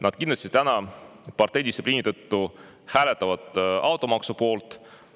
Nad kindlasti täna parteidistsipliini tõttu hääletavad automaksu poolt.